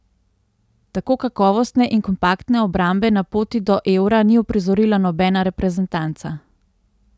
Tako kakovostne in kompaktne obrambe na poti do eura ni uprizorila nobena reprezentanca.